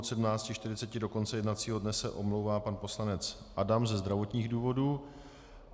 Od 17.40 do konce jednacího dne se omlouvá pan poslanec Adam ze zdravotních důvodů.